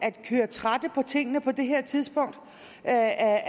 at køre en trætte om tingene på det her tidspunkt af